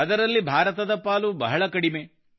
ಅದರಲ್ಲಿ ಭಾರತದ ಪಾಲು ಬಹಳ ಕಡಿಮೆ